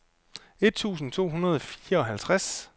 et tusind to hundrede og fireoghalvtreds